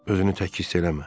Özünü tək hiss eləmə.